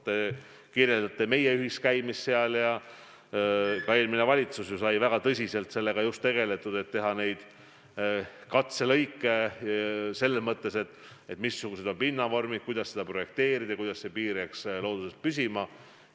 Te märkisite meie ühist käiku sinna ja ka eelmises valitsuses sai sellega väga tõsiselt tegeletud, et teha neid katselõike, et teada saada, missugused on pinnavormid, kuidas seda projekteerida, kuidas see piir looduses püsima jääks.